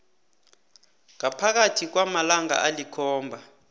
ngaphakathi kwamalanga alikhomba